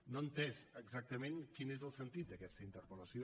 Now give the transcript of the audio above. no he entès exactament quin és el sentit d’aquesta interpel·lació